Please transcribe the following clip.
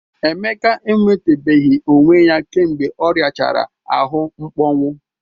Emeka enwetabeghi onwe ya kemgbe ọriachara ahụ mkpọnwụ.